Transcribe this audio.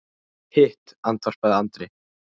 Hitt, andvarpaði Andri.